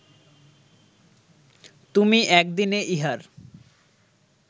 তুমি এক দিনে ইহার